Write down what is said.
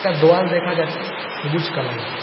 একটা দোয়াল দেখা যাচ্ছে সবুজ কালারের।